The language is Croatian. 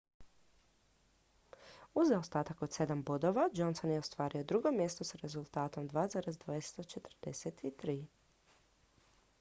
uz zaostatak od sedam bodova johnson je ostvario drugo mjesto s rezultatom 2,243